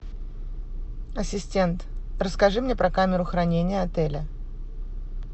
ассистент расскажи мне про камеру хранения отеля